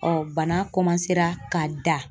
bana ka da.